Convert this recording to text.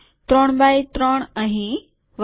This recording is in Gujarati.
૩ એક્સ ૩ અહીં વગેરે